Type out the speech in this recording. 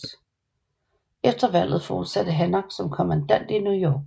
Efter valget fortsatte Hancock som kommandant i New York